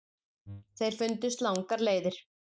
Þeir fundust langar leiðir.